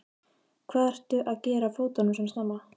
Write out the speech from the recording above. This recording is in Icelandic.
Hvað ertu að gera á fótum svona snemma?